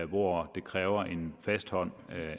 hvor det kræver en fast hånd